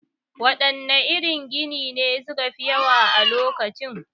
Waɗanne irin ginin ne su ka fi yawa a lokacin?